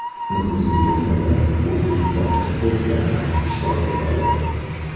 Nufuzli turnirda o‘zbekistonlik sportchilar ham ishtirok etadi.